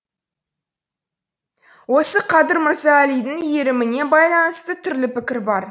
осы қадыр мырза әлидің иіріміне байланысты түрлі пікір бар